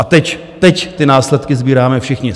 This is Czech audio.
A teď, teď ty následky sbíráme všichni.